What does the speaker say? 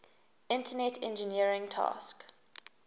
internet engineering task